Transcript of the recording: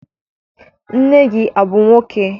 Nne gị abụ nwoke?